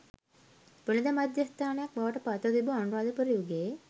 වෙළෙඳ මධ්‍යස්ථානයක් බවට පත්ව තිබූ අනුරාධපුර යුගයේ